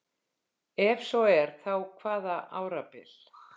ef svo er þá hvaða árabil